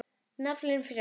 Naflinn frjáls.